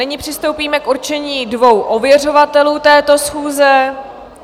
Nyní přistoupíme k určení dvou ověřovatelů této schůze.